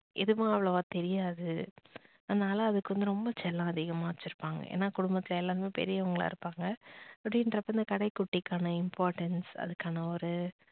எதுவும் அவளோவா தெரியாது அதனால அதுக்கு வந்து ரொம்ப செல்லம் அதிகமா வச்சிருப்பாங்க ஏன்னா குடும்பத்துல எல்லாரும் பெரியவங்களா இருப்பாங்க அப்படின்றப்ப இந்த கடைக்குட்டிக்கான importance அதுக்கான ஒரு